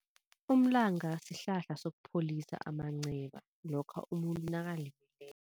Umlanga sihlahla sokupholisa amanceba lokha umuntu nakalimeleko.